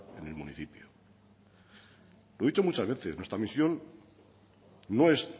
en el municipio lo he dicho muchas veces nuestra misión no es